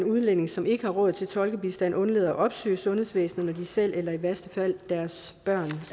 udlændinge som ikke har råd til tolkebistand undlader at opsøge sundhedsvæsenet når de selv eller i værste fald deres børn